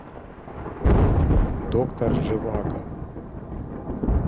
доктор живаго